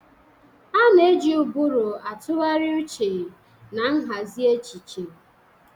A na-eji ụbụrụ atụgharị uche na nhazi echiche.